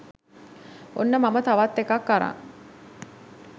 ඔන්න මම තවත් එකක් අරන්